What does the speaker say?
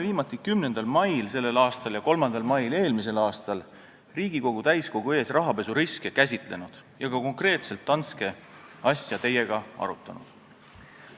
Viimati käsitlesime rahapesuriske Riigikogu täiskogu ees 10. mail sellel aastal ja 3. mail eelmisel aastal ja oleme teiega ka konkreetselt Danske asja arutanud.